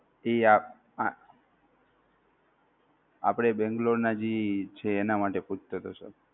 જી આપ આપણે બેંગલોર ને જી છે એના માટે પૂછતો હતો sir